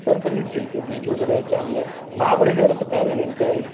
तारकर्ली ठीक आहे बीच वगैरे चांगले महाबळेश्वर आता काय झालंय